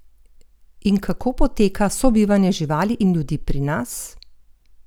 In kako poteka sobivanje živali in ljudi pri nas?